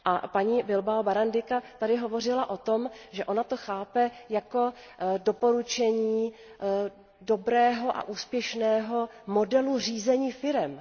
Paní Bilbaová Barandicová tady hovořila o tom, že ona to chápe jako doporučení dobrého a úspěšného modelu řízení firem.